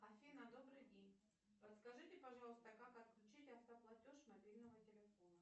афина добрый день подскажите пожалуйста как отключить автоплатеж мобильного телефона